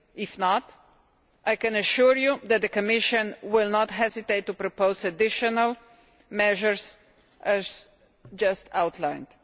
If not, I can assure you that the Commission will not hesitate to propose additional measures, as just outlined.